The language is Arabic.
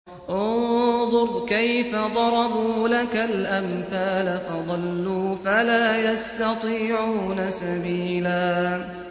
انظُرْ كَيْفَ ضَرَبُوا لَكَ الْأَمْثَالَ فَضَلُّوا فَلَا يَسْتَطِيعُونَ سَبِيلًا